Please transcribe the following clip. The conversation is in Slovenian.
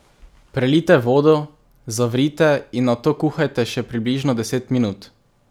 Prelijte z vodo, zavrite in nato kuhajte še približno deset minut.